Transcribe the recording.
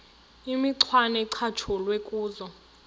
imicwana ecatshulwe kuzo